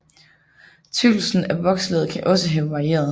Tykkelsen af vokslaget kan også have varieret